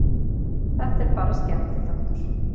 Þetta er bara skemmtiþáttur.